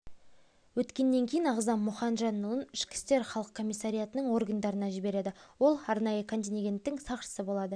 өткеннен кейін ағзам мұхажанұлын ішкі істер халық комиссариатының органдарына жібереді ол арнайы контенгенттің сақшысы болады